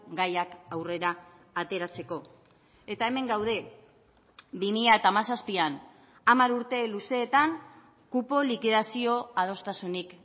gaiak aurrera ateratzeko eta hemen gaude bi mila hamazazpian hamar urte luzeetan kupo likidazio adostasunik